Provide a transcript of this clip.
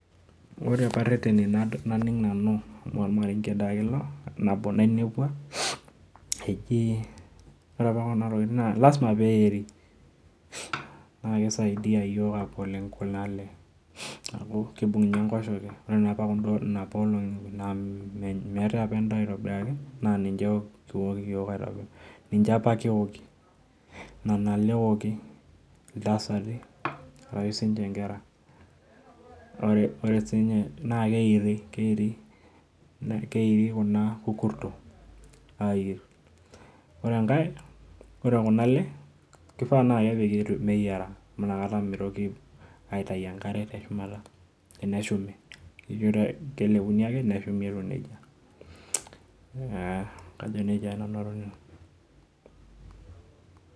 Oore aapa irereni naning' nanu amuu ormarenge taake iilo, nabo nainepua, eeji oore aapa kuuna tokitin naa lazima peyie eiri. Naa keisaidia oleng kuuna aale amuu keibung ninye enkoshoke, oore napa inapa olong'i amuu meetae aapa en'daa aitobiraki naa ninche apake eoki nena aale eoki intasati arashu sininche inkera. Oore, oore sininye naa keiri, keiri, keiri kuna kukurtok, aiir. Oore enkae, oore kuuna aale, keifaa naa kepiki meyiara amuu naikata meitoki aitau enkare teshumata eneshumi, kelepuni aake neshumi naa etiu nejia. Kajo nejia aake nanu atoning'o.